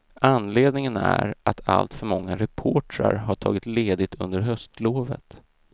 Anledningen är att alltför många reportrar har tagit ledigt under höstlovet.